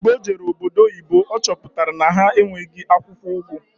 Mgbe o jere obodo oyibo ọ chọpụtara na ha enweghị akwụkwọ ugu